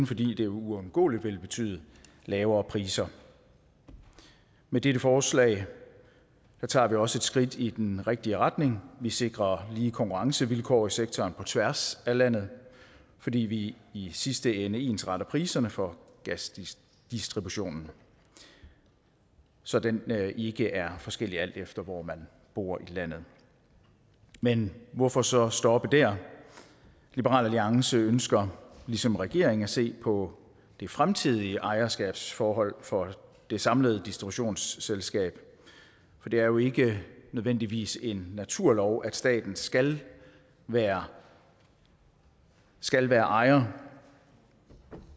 fordi det uundgåeligt vil betyde lavere priser med dette forslag tager vi også et skridt i den rigtige retning vi sikrer lige konkurrencevilkår i sektoren på tværs af landet fordi vi i sidste ende ensretter prisen for gasdistributionen så den ikke er forskellig alt efter hvor man bor i landet men hvorfor så stoppe der liberal alliance ønsker ligesom regeringen at se på det fremtidige ejerskabsforhold for det samlede distributionsselskab for det er jo ikke nødvendigvis en naturlov at staten skal være skal være ejer